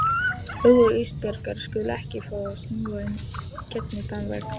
Augu Ísbjargar skulu ekki fá að smjúga í gegnum þann vegg.